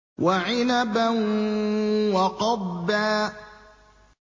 وَعِنَبًا وَقَضْبًا